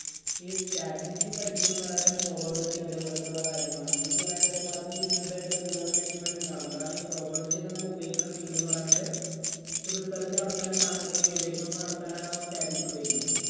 ഈ statistics ൽ പഠിപ്പിക്കുന്നത് എന്ന് പറയാൻ നേരം probability അതേപോലെയുള്ള കാര്യമാണ്. അതും business ഉംആയിട്ട് ബന്ധം ഉണ്ട് എന്ന് എനിക്ക് മനസ്സിലാകുന്നില്ല. കാരണം ഈ probability ഒക്കെ നമ്മൾ ഉപയോഗിക്കുന്ന field എന്ന് പറയാൻ നേരം research നടത്താനും സാങ്കേതിക ഗവേഷണം ഒക്കെ നടത്താനുമാണ് നമ്മൾ statistics ഉപയോഗിക്കുന്നത്.